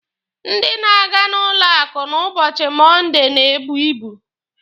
Ndị na-aga na n'ụlọ akụ n'ụbọchị Mọnde na-ebu ibu.